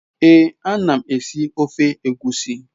Ee anam esi ofe egwusi